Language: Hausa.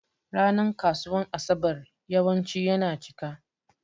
Ranan kasuwan asaɓar yawanci yana ciƙa.